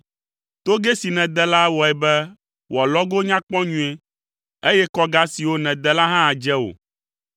Togɛ si nède la wɔe be wò alɔgo nya kpɔ nyuie, eye kɔga siwo nède la hã dze wò.